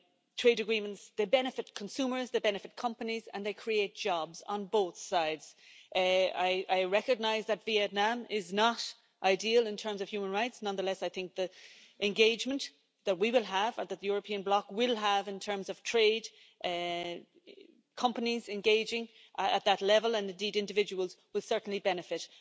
Trade agreements benefit consumers, they benefit companies and they create jobs on both sides. I recognise that Vietnam is not ideal in terms of human rights. Nonetheless, I think the engagement that the European bloc will have in terms of trade companies engaging at that level and, indeed, individuals will certainly benefit.